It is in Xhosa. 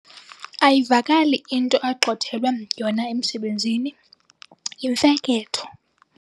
Ayivakali into agxothelwe yona emsebenzini, yimfeketho.